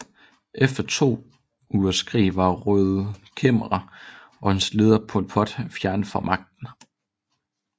Efter to ugers krig var Røde Khmer og dets leder Pol Pot fjernet fra magten